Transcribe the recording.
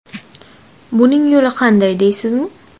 Buning yo‘li qanday deysizmi?